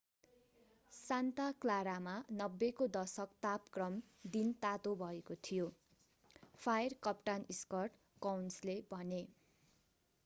Santa क्लारामा 90 को दशक तापक्रम दिन तातो भएको थियो फायर कप्तान स्कट कोउन्सले भने